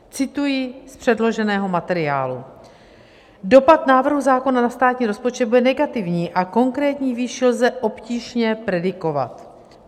Cituji z předloženého materiálu: "Dopad návrhu zákona na státní rozpočet bude negativní a konkrétní výši lze obtížně predikovat."